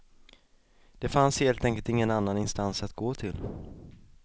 Det fanns helt enkelt ingen annan instans att gå till.